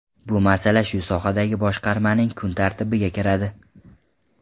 Bu masala shu sohadagi boshqarmaning kun tartibiga kiradi.